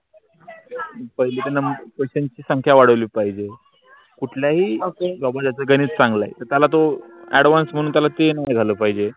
पहिले त question ची संख्या वाढवली पाहिजे. कुठल्याही ok बाबू शहा च गणित चांगल आहे. त्याला तो advance म्हणून त्याला ते नाही झालं पाहिजे.